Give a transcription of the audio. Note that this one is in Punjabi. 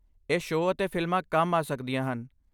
ਇਹ ਸ਼ੋਅ ਅਤੇ ਫਿਲਮਾਂ ਕੰਮ ਆ ਸਕਦੀਆਂ ਹਨ।